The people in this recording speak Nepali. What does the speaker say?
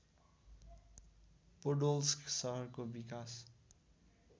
पोडोल्स्क सहरको विकास